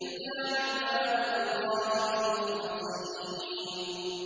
إِلَّا عِبَادَ اللَّهِ الْمُخْلَصِينَ